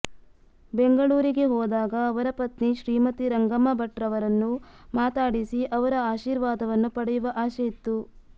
ಬೆಂಗಳೂರಿಗೆ ಹೋದಾಗ ಅವರ ಪತ್ನಿ ಶ್ರೀಮತಿ ರಂಗಮ್ಮ ಭಟ್ ರವರನ್ನು ಮಾತಾಡಿಸಿ ಅವರ ಆಶೀರ್ವಾದವನ್ನು ಪಡೆಯುವ ಆಶೆಯಿತ್ತು